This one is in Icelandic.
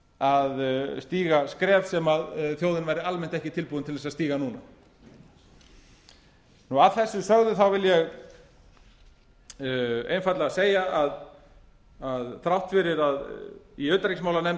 að stíga skref sem þjóðin væri almennt ekki tilbúin til að stíga núna að þessu sögðu vil ég einfaldlega segja að þrátt fyrir að í utanríkismálanefnd